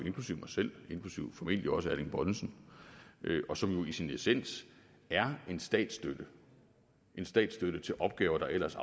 selv inklusive formentlig også herre erling bonnesen og som jo i sin essens er en statsstøtte statsstøtte til opgaver der ellers